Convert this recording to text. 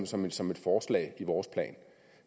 som som et forslag i vores plan